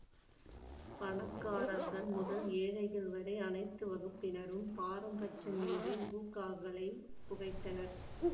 பணக்காரர்கள் முதல் ஏழைகள் வரை அனைத்து வகுப்பினரும் பாரபட்சமின்றி ஹூக்காகளை புகைத்தனர்